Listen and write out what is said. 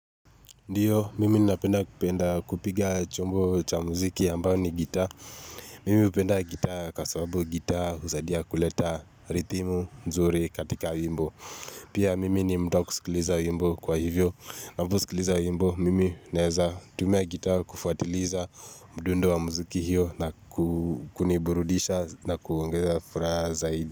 Ndio, mimi napenda kupenda kupiga chombo cha muziki ambao ni gita. Mimi hupenda gita kwa sababu gita huzadia kuleta rithimu, nzuri katika wimbo. Pia mimi ni mtu kusikiliza wimbo kwa hivyo. Ninaposikiliza wimbo, mimi naeza tumia gita kufuatiliza mdundo wa muziki hiyo na kuniburudisha na kuongeza furaha zaidi.